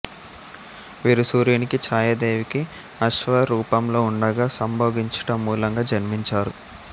వీరు సూర్యునికి ఛాయాదేవికి అశ్వ రూపంలో ఉండగా సంభోగించుట మూలంగా జన్మించారు